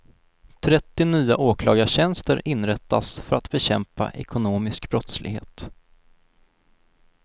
Trettio nya åklagartjänster inrättas för att bekämpa ekonomisk brottslighet.